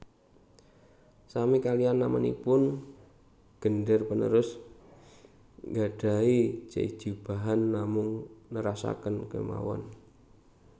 Sami kaliyan namanipun gender panerus nggadhahi jejibahan namung nerasaken kemawon